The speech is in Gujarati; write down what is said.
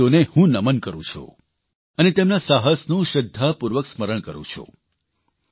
તે શહીદોને હું નમન કરૂં છું અને તેમના સાહસનું શ્રદ્ધાપૂર્વક સ્મરણ કરું છું